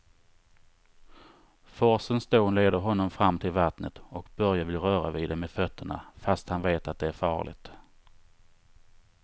Forsens dån leder honom fram till vattnet och Börje vill röra vid det med fötterna, fast han vet att det är farligt.